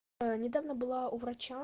аа недавно была у врача